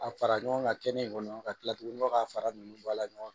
A fara ɲɔgɔn ka kɛnɛ kɔnɔ ka kila tugunni k'a fara ninnu bɔ a la